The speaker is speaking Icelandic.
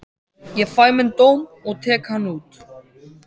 Ég fæ minn dóm og tek hann út.